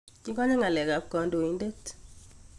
Kikonye nga'lek ab kodoidet.